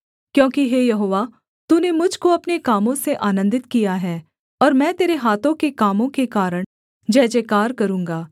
क्योंकि हे यहोवा तूने मुझ को अपने कामों से आनन्दित किया है और मैं तेरे हाथों के कामों के कारण जयजयकार करूँगा